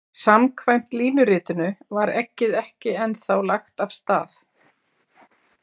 Samkvæmt línuritinu var eggið ekki ennþá lagt af stað.